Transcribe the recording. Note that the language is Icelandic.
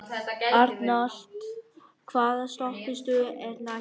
Arnald, hvaða stoppistöð er næst mér?